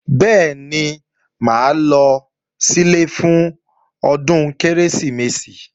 Bẹ́ẹ̀ni, mà á lọ sílé fún ọdún Kérésìmesì